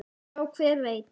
Já, hver veit?